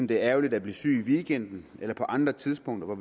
det er ærgerligt at blive syg i weekenden eller på andre tidspunkter hvor